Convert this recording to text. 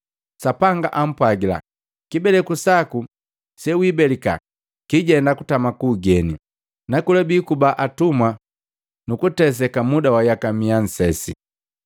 Sapanga ampwagila, ‘Kibeleku saku sewibelika kiijenda kutama kuugeni, nakola biikuba atumwa nukuteseka muda wa yaka miya nsesi.